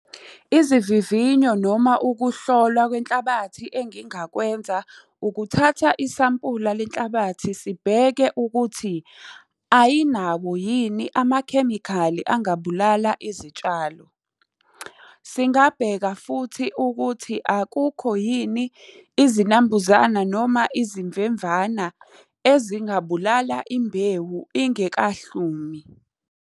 Izivivinyo noma ukuhlolwa kwenhlabathi engingakwenza ukuthatha isampula lenhlabathi sibheke ukuthi, ayinawo yini amakhemikhali angabulala izitshalo. Singabheka futhi ukuthi akukho yini izinambuzana noma izimvemvana ezingabulala imbewu ingekahlumi.